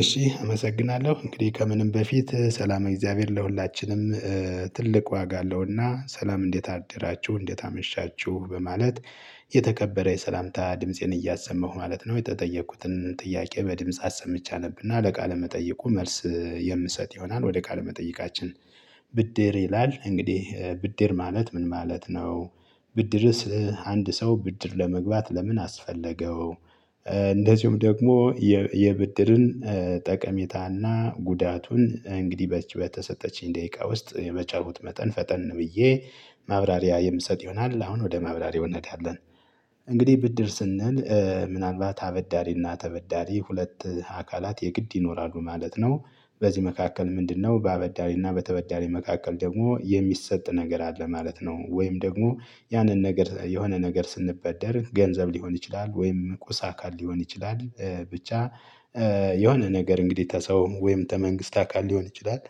እሺ አመሰግናለሁ። እንግዲህ ከምንም በፊት ሰላመ እግዚአብሔር ለሁላችንም ትልቅ ዋጋ አለው። እና ሰላም እንዴት አደራችሁ? እንዴት አመሻችሁ? በማለት የተከበረ የሰላምታ ድምፄን እያሰመሁ ማለት ነው፤ የተጠየቅኩትን ጥያቄ በድምጽ አሰምቼ አነብና ለቃለ መጠየቁ መልስ የምሰጥ ይሆናል። ወደ ካለመጠየቃችን፥ ብድር ይላል። እንግዲህ ብድር ማለት ምን ማለት ነው? ብድርስ አንድ ሰው ብድር ለመግባት ለምን አስፈለገው? እንደዚሁም ደግሞ የብድርን ጠቀሜታና ጉዳቱን እንግዲህ በተሰጠችኝ ደቂቃ ውስጥ በቻልኩት መጠን ፈጠን ብዬ ማብራሪያ የምሰጥ ይሆናል። አሁን ወደ ማብራሪያው እንሄዳለን። እንግዲህ ብድር ስንል ምናልባት አበዳሪና ተበዳሪ ሁለት አካላት የግድ ይኖራሉ ማለት ነው። በዚህ መካከል ምንድነው በአበዳሪና በተበዳሪ መካከል ደግሞ የሚሰጥ ነገር አለ ማለት ነው። ወይም ደግሞ ያንን ነገር የሆነ ነገር ስንበደር ገንዘብ ሊሆን ይችላል ወይም ቁሳ አካል ሊሆን ይችላል ብቻ የሆነ ነገር እንግዲህ ከሰው ወይም ተመንግስት አካል ሊሆን ይችላል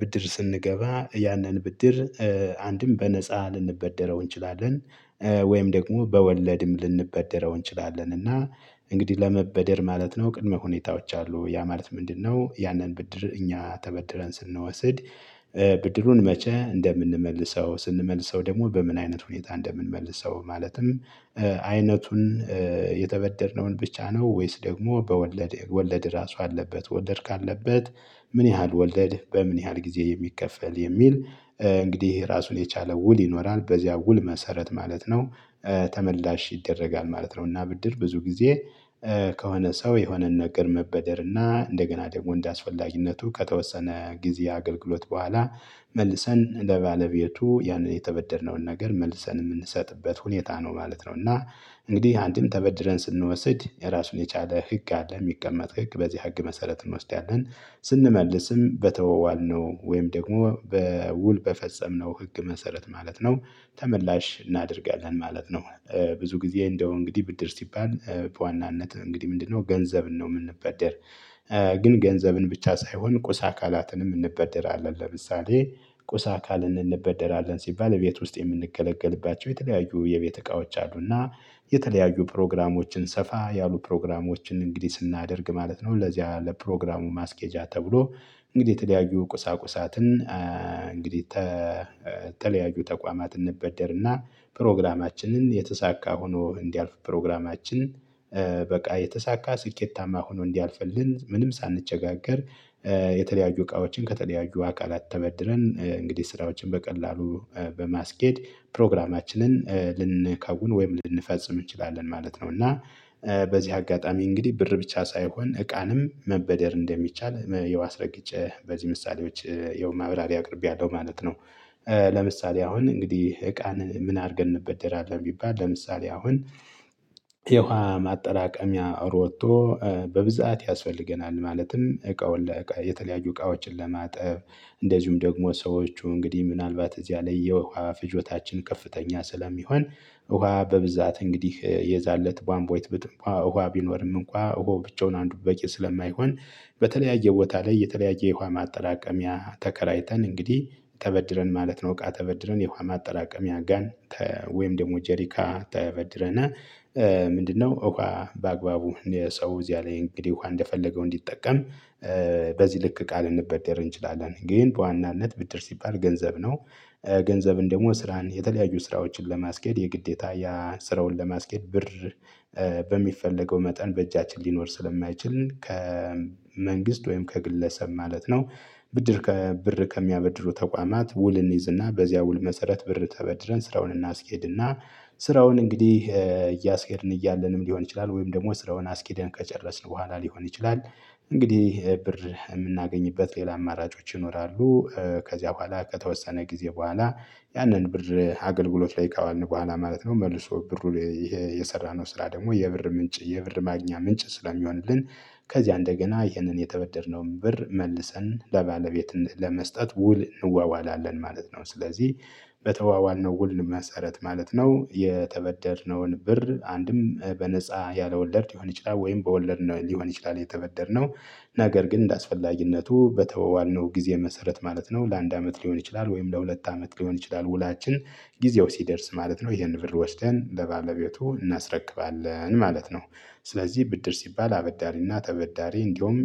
ብድር ስንገባ ያንን ብድር አንድም በነፃ ልንበደረው እንችላለን፤ ወይም ደግሞ በወለድም ልንበደረው እንችላለን። እና እንግዲህ ለመበደር ማለት ነው ቅድመ ሁኔታዎች አሉ። ያ ማለት ምንድነው? ያንን ብድር እኛ ተበድረን ስንወስድ ብድሩን መቼ እንደምንመልሰው ስንመልሰው ደግሞ በምን አይነት ሁኔታ እንደምንመልሰው ማለትም አይነቱን የተበደርነውን ብቻ ነው? ወይስ ደግሞ በወለድ ወለድ ራሱ አለበት? ወለድ ካለበት ምን ያህል ወለድ? በምን ያህል ጊዜ የሚከፈል? የሚል እንግዲህ ራሱን የቻለ ውል ይኖራል። በዚያ ውል መሰረት ማለት ነው ተመልላሽ ይደረጋል ማለት ነው። እና ብድር ብዙ ጊዜ ከሆነ ሰው የሆነን ነገር መበደር እና እንደገና ደግሞ እንደአስፈላጊነቱ ከተወሰነ ጊዜ አገልግሎት በኋላ መልሰን ለባለቤቱ ያንን የተበደርነውን ነገር መልሰን የምንሰጥበት ሁኔታ ነው ማለት ነው። እና እንግዲህ አንድም ተበድረን ስንወስድ የራሱን የቻለ ህግ አለ። የሚቀመጥ ህግ በዚህ ህግ መሰረት እንወስዳለን። ስንመልስም በተወዋልነው ወይም ደግሞ በውል በፈጸምነው ህግ መሰረት ማለት ነው ተመላሽ እናደርጋለን ማለት ነው። ብዙ ጊዜ እንደው እንግዲህ ብድር ሲባል በዋናነት እንግዲህ ምንድነው ገንዘብን ነው የምንበደር። ግን ገንዘብን ብቻ ሳይሆን ቁሳ አካላትን እንበደራለን። ለምሳሌ ቁሳ አካልን እንበደራለን ሲባል ቤት ውስጥ የምንገለገልባቸው የተለያዩ የቤት እቃዎች አሉና የተለያዩ ፕሮግራሞችን ሰፋ ያሉ ፕሮግራሞችን እንግዲህ ስናደርግ ማለት ነው ለዚያ ለፕሮግራሙ ማስኬጃ ተብሎ እንግዲህ የተለያዩ ቁሳቁሳትን እንግዲህ ተተለያዩ ተቋማት እንበደርና ፕሮግራማችንን የተሳካ ሆኖ እንዲያልፍ ፕሮግራማችን በቃ የተሳካ ስኬታማ ሆኖ እንዲያልፍልን ምንም ሳንቸጋገር የተለያዩ እቃዎችን ከተለያዩ አካላት ተበድረን እንግዲህ ስራዎችን በቀላሉ በማስኬድ ፕሮግራማችንን ልንከውን ወይም ልንፈጽም እንችላለን ማለት ነው። እና በዚህ አጋጣሚ እንግዲህ ብር ብቻ ሳይሆን እቃንም መበደር እንደሚቻል ያው አስረግጨ በዚህ ምሳሌዎች ያው ማብራሪያ አቅርቤያለሁ ማለት ነው። ለምሳሌ አሁን እንግዲህ እቃን ምን አድርገን እንበደራለን? ቢባል ለምሳሌ አሁን የውሃ ማጠራቀሚያ ሮቶ በብዛት ያስፈልገናል። ማለትም እቃውን የተለያዩ እቃዎችን ለማጠብ እንደዚሁም ደግሞ ሰዎች እንግዲህ ምናልባት እዚያ ላይ የውሃ ፍጆታችን ከፍተኛ ስለሚሆን ውሃ በብዛት እንግዲህ የዛን እለት ቧንቧይት ብትጠፋ ውሃ ቢኖርም እንኳን ውሃው ብቻውን አንዱ በቂ ስለማይሆን በተለያየ ቦታ ላይ የተለያየ የውሃ ማጠራቀሚያ ተከራይተን እንግዲህ ተበድረን ማለት ነው እቃ ተበድረን የውሃ ማጠራቀሚያ ጋን ወይም ደግሞ ጀሪካ ተበድረነ ምንድነው ውሃ በአግባቡ የሰው እዚያ ላይ እንግዲህ ውሃ እንደፈለገው እንዲጠቀም በዚህ ልክ ቃል ልንበደር እንችላለን። ግን በዋናነት ብድር ሲባል ገንዘብ ነው። ገንዘብን ደግሞ ስራን የተለያዩ ስራዎችን ለማስኬድ የግዴታ ያ ስራውን ለማስኬድ ብር በሚፈለገው መጠን በእጃችን ሊኖር ስለማይችል ከመንግስት ወይም ከግለሰብ ማለት ነው ብድር ከብር ከሚያበድሩ ተቋማት ውል እንይዝና በዚያ ውል መሰረት ብር ተበድረን ስራውን እናስኬድና ስራውን እንግዲህ እያስኬድን እያለንም ሊሆን ይችላል ወይም ደግሞ ስራውን አስኪደን ከጨረስን በኋላ ሊሆን ይችላል እንግዲህ ብር የምናገኝበት ሌላ አማራጮች ይኖራሉ፤ ከዚያ በኋላ ከተወሰነ ጊዜ በኋላ ያንን ብር አገልግሎት ላይ ካዋልን በኋላ ማለት ነው መልሶ ብሩን የሰራነው ስራ ደግሞ የብር ምንጭ የብር ማግኛ ምንጭ ስለሚሆንልን ከዚያ እንደገና ይህንን የተበደርነውን ብር መልሰን ለባለቤት ለመስጠት ውል እንዋዋላለን ማለት ነው። ስለዚህ በተዋዋል ነው ውል መሰረት ማለት ነው የተበደርነውን ብር አንድም በነፃ ያለ ወለድ ሊሆን ይችላል ወይም በወለድ ሊሆን ይችላል የተበደርነው ነገር ግን እንደአስፈላጊነቱ በተዋዋልነው ጊዜ መሰረት ማለት ነው ለአንድ አመት ሊሆን ይችላል ወይም ለሁለት አመት ሊሆን ይችላል ውላችን ጊዜው ሲደርስ ማለት ነው ይሄንን ብር ወስደን ለባለቤቱ እናስረክባለን ማለት ነው። ስለዚህ ብድር ሲባል አበዳሪና ተበዳሪ እንዲሁም